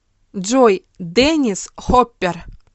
джой деннис хоппер